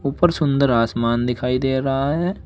ऊपर सुंदर आसमान दिखाई दे रहा है।